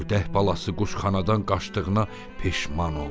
Ördək balası quşxanadan qaçdığına peşman oldu.